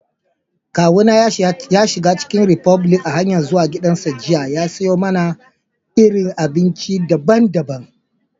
Kawu na ya shiga chicken republic a'hanyan zuwa gida jiya ya siya mana irin abinci dabban-dabban.